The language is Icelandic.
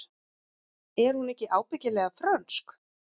Er hún ekki ábyggilega frönsk?